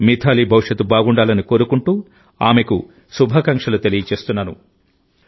మిథాలీ భవిష్యత్తు బాగుండాలని కోరుకుంటూ ఆమెకు శుభాకాంక్షలు తెలియజేస్తున్నాను